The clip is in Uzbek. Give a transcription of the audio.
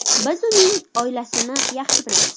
Biz uning oilasini yaxshi bilamiz.